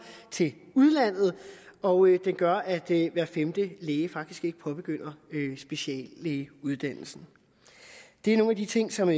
til udlandet og den gør at hver femte læge faktisk ikke påbegynder speciallægeuddannelsen det er nogle af de ting som